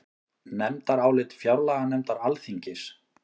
Nefndarálit fjárlaganefndar Alþingis